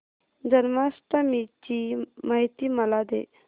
जन्माष्टमी ची माहिती मला दे